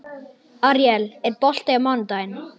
Aríel, er bolti á mánudaginn?